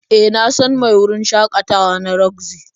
E, na san mai wurin shakatawa na roxy.